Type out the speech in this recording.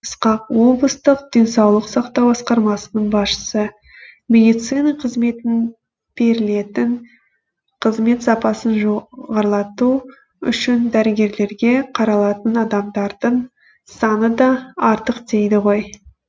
ысқақ облыстық денсаулық сақтау басқармасының басшысы медицина қызметінің берілетін қызмет сапасын жоғарлату үшін дәрігерлерге қаралатын адамдардың саны да артық дейді ғой